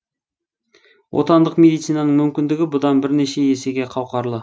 отандық медицинаның мүмкіндігі бұдан бірнеше есеге қауқарлы